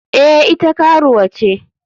Eh ita karuwa ce.